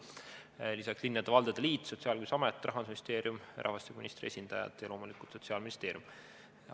Lisaks olid seal linnade ja valdade liidu, Sotsiaalkindlustusameti, Rahandusministeeriumi, rahvastikuministri esindajad ja loomulikult Sotsiaalministeeriumi esindajad.